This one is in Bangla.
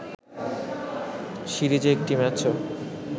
সিরিজে একটি ম্যাচও